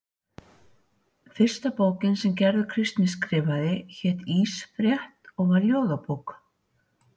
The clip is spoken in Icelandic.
Fyrsta bókin sem Gerður Kristný skrifaði hét Ísfrétt og var ljóðabók.